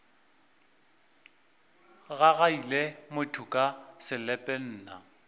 gagaila motho ka selepe nna